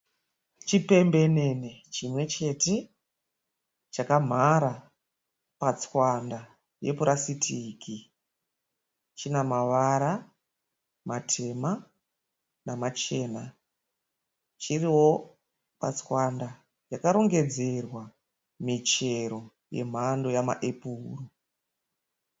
Chipembenene chimwe chete chakamhara patswanda yepurasitiki. China mavara matema namachena. Chiriwo patswanda yakarongedzerwa michero yemhando yama epuro.